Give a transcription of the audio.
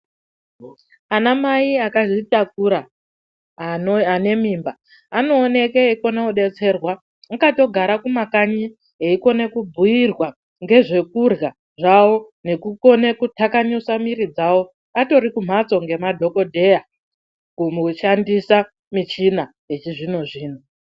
Anamai akazvitakura ano ane mimba anooneke eikone kudetserwa mwakatogare kumakanyi eikone kubhuyirwa ngezvekurya zvawo nekukone kuthakanyusa miri dzawo atori kumhatso ngemadhokodheya kumboshandisa michina yechizvinozvino.